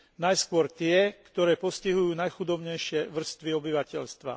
Najskôr tie, ktoré postihujú najchudobnejšie vrstvy obyvateľstva.